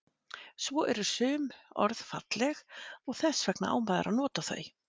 Svo eru sum orð falleg og þess vegna á maður að nota þau.